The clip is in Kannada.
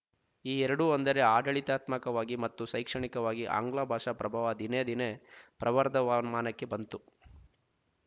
ಈ ಎರಡೂ ಅಂದರೆ ಆಡಳಿತಾತ್ಮಕವಾಗಿ ಮತ್ತು ಶೈಕ್ಷಣಿಕವಾಗಿ ಆಂಗ್ಲಭಾಷಾ ಪ್ರಭಾವ ದಿನೇ ದಿನೇ ಪ್ರವರ್ಧವಮಾನಕ್ಕೆ ಬಂತು